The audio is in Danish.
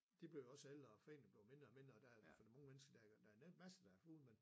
De bliver jo også ældre og foreningen bliver mindre og mindre og der for det mange mennesker der der er masser der har fugle men